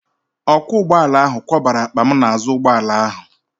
Ọkwọ ụgbọala ahụ kwakọbara akpa m n'azụ ụgbọala ahụ.